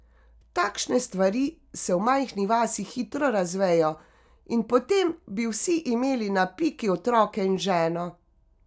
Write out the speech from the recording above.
Takšne stvari se v majhni vasi hitro razvejo, in potem bi vsi imeli na piki otroke in ženo.